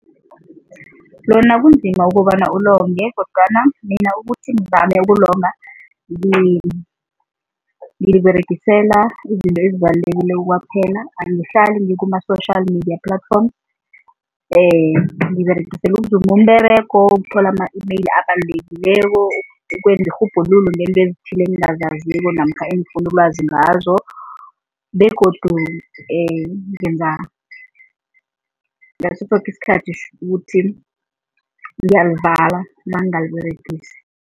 Lona kunzima ukobana ulonge kodwana mina ukuthi ngizame ukulonga, ngiliberegisela izinto ezibalulekileko kwaphela, angihlali ngikuma-social media platforms. Ngiliberegisela ukuzuma umberego, ukuthola ama-e-mail abalulekileko, ukwenza irhubhululo ngento ezithileko, engingazaziko namkha engifuna ulwazi ngazo begodu ngenza ngaso soke isikhathi ukuthi ngiyalivala nangingaliberegesi.